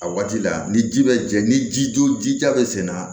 A waati la ni ji bɛ jɛ ni ji don jija bɛ sen na